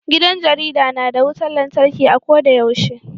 Gidan jarida na da wutan lantarki a ko da yaushe.